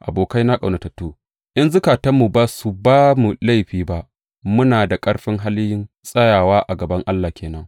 Abokaina ƙaunatattu, in zukatanmu ba su ba mu laifi ba, muna da ƙarfin halin tsayawa a gaban Allah ke nan.